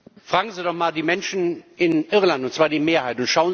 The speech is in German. Fragen Sie doch mal die Menschen in Irland, und zwar die Mehrheit.